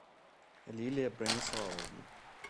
лилия брониславовна